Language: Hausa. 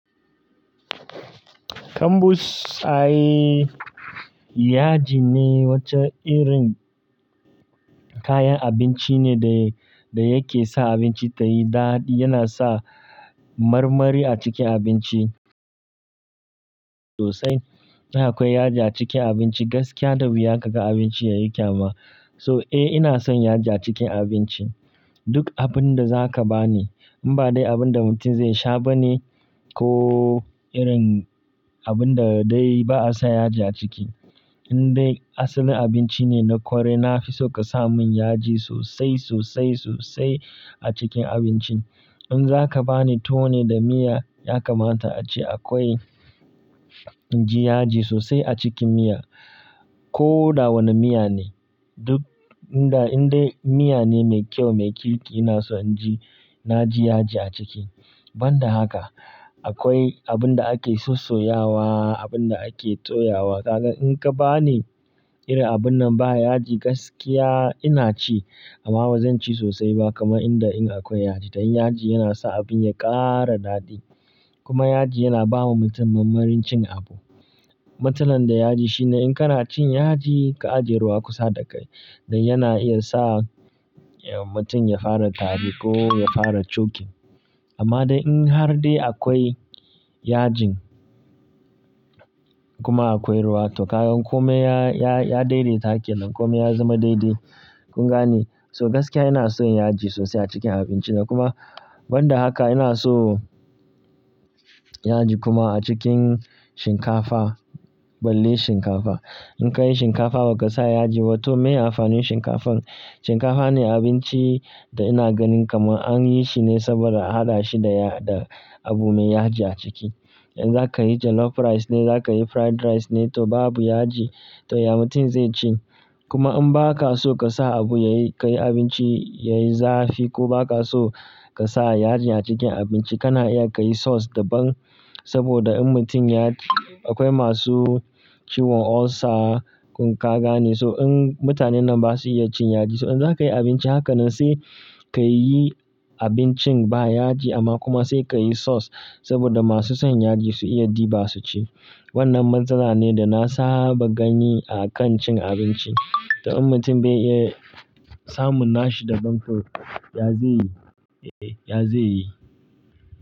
Kambus, aye, yaji ne, wata irin kayan abinci ne da, da yake sa abinci ta yi daɗi. Yana sa marmari a cikin abinci sosai. In akwai yaji a cikin abinci, gaskiya, da wuya ka ga abinci ya yi kyama. So, eh, ina son yaji a cikin abinci. Duk abin da za ka ba ni, in ba dai abin da mutum zai sha ba ne, ko irin abin da dai ba a sa yaji a ciki. In dai asalin abinci ne na korai, na fi so ka sa mun yaji sosai, sosai, sosai a cikin abincin. In za ka ba ni tuwo ne da miya, ya kamata a ce akwai ji yaji sosai a cikin miya. Ko da wane miya ne. Duk, in dai, in dai miya ne mai kyau, mai kirki, ina so in ji, na ji yaji a ciki. Ban da haka, akwai abin da ake sussoyawa, abin da ake toyawa. Ka ga, in ka ba ni irin abun nan ba yaji, gaskiya ina ci amma ba zan ci sosai ba kamar inda in akwai yaji. Dan yaji yana sa abin ya ƙara daɗi. Kuma yaji yana ba wa mutum mamarin cin abu. Matsalar da yaji shine in ka raci yaji, ka ajiye ruwa kusa da kai, dai yana iya sa, eh, mutum ya fara tari ko ya fara chokin. Amma dai in har dai akwai yajin kuma akwai ruwa to ka ga komai ya, ya, ya daidaita hakilan komai ya zama daidai, kun gane? So gaskiya ina son yaji sosai a cikin abinci na. Kuma ban da haka ina so yaji kuma a cikin shinkafa, balle shinkafa. In ka yi shinkafa ba ka sa yaji, to miye amfanin shinkafan? Shinkafa ne abinci da ina ganin kamar an yi shi ne saboda a haɗa shi da, da abu mai yaji a ciki. In za ka yi jollof rice ne, za ka yi fried rice ne, to babu yaji, to ya mutum zai ci? Kuma in ba ka so ka sa abu yayi, ka yi abinci yayi zafi ko ba ka so ka sa yajin a cikin abinci, kana iya ka yi sauce daban saboda in mutum ya-- akwai masu ciwon ulcer kun ka gane. So in mutanen nan ba su iya cin yaji, so in za ka yi abinci haka nan sai ka yi abincin ba yaji amma kuma sai ka yi sauce saboda masu son yaji su iya ɗiba su ci. Wannan matsala ne da na saba gani a kan cin abinci. To in mutum bai iya samun nashi da bamfur, ya ze yi? Eh, ya ze yi?